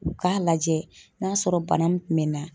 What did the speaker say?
U k'a lajɛ n'a sɔrɔ bana min kun bɛ na